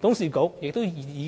董事局亦